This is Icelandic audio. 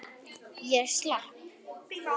Ég slapp.